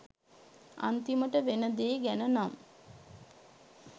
අන්තිමට වෙන දේ ගැනනම්